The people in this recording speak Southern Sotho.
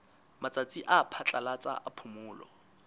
matsatsi a phatlalatsa a phomolo